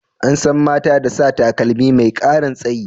An san mata da sa takalmi mai karin tsayi.